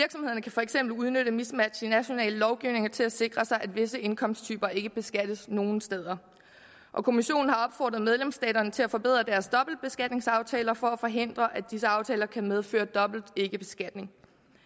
kan for eksempel udnytte mismatch i nationale lovgivninger til at sikre sig at visse indkomsttyper ikke beskattes nogen steder og kommissionen har opfordret medlemsstaterne til at forbedre deres dobbeltbeskatningsaftaler for at forhindre at disse aftaler kan medføre dobbelt ikkebeskatning